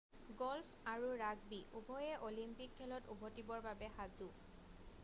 golf আৰু rugby উভয়ে Olympic খেলত উভতিবৰ বাবে সাজু